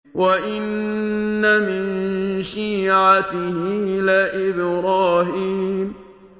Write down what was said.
۞ وَإِنَّ مِن شِيعَتِهِ لَإِبْرَاهِيمَ